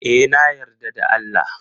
E, na yarda da Allah.